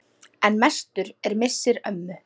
En mestur er missir ömmu.